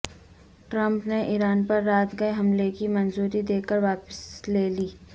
Trump نے Iran پر رات گئے حملے کی منظوری دے کر واپس لے لی